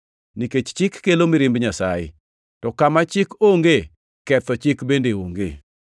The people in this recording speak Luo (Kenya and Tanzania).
nikech Chik kelo mirimb Nyasaye. To kama Chik onge, ketho chik bende onge.